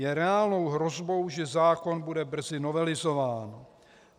Je reálnou hrozbou, že zákon bude brzy novelizován.